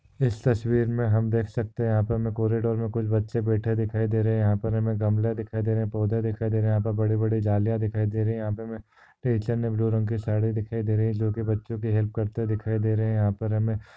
इस तस्वीर मे हम देख सकते यहाँ पे हमे कॉरीडोर मे कुछ बच्चे बैठे दिखाई दे रहे। यहाँ पर हमे गमले दिखाई दे रहे पौधे दिखाई दे रहे। यहाँ पर बडे बड़े जालिया दिखाई दे रहे यहाँ पे हमे टीचर ने ब्लू रंग की साड़ी दिखाई दे रही जोकि बच्चों की हेल्प करते दिखाई दे रही। यहा पर हमे--